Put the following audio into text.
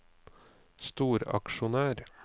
storaksjonær